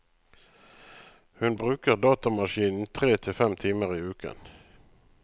Hun bruker datamaskinen tre til fem timer i uken.